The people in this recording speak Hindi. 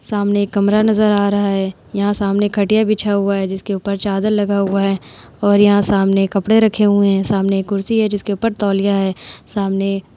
सामने एक कमरा नजर आ रहा है। यहाँ सामने खटिया बिछा हुआ है जिसके ऊपर चादर लगा हुआ है और यहां सामने कपड़े रखे हुए हैं। सामने एक कुर्सी है जिसके ऊपर तौलिया है। सामने --